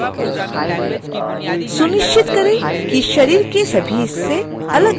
सुनिश्चित करें कि शरीर के सभी हिस्से अलगअलग लेयर में हों